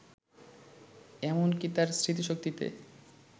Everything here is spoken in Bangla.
এমন কি তার স্মৃতিশক্তিতে